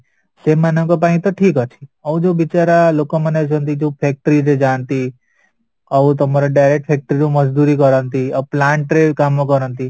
ସେମାନଙ୍କ ପାଇଁ ତ ଠିକଅଛି ଆଉ ଯୋଉ ବିଚରା ଲୋକମାନେ ଅଛନ୍ତି ଯୋଉ factory ରେ ଯାନ୍ତି ଆଉ ତମର direct factory ରୁ କରନ୍ତି ଆଉ plant ରେ କାମ କରନ୍ତି